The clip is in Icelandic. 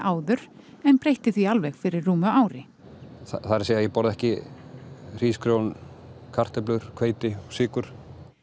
áður en breytti því alveg fyrir rúmu ári það er að segja ég borða ekki hrísgrjón kartöflur hveiti og sykur